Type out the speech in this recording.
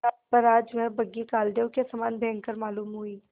पर आज वह बग्घी कालदेव के समान भयंकर मालूम हुई